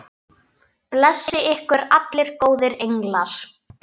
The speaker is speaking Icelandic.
Blessi ykkur allir góðir englar.